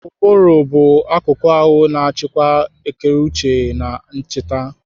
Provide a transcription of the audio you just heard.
Ụbụrụ bụ akuku ahụ na-achịkwa ekereuche na ncheta.